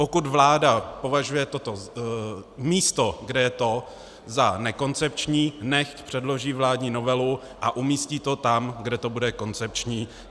Pokud vláda považuje toto místo, kde je to, za nekoncepční, nechť předloží vládní novelu a umístí to tam, kde to bude koncepční.